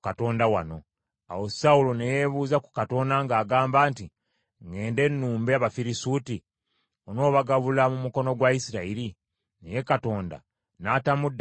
Awo Sawulo ne yeebuuza ku Katonda ng’agamba nti, “Ŋŋende nnumbe Abafirisuuti? Onoobagabula mu mukono gwa Isirayiri?” Naye Katonda n’atamuddamu ku olwo.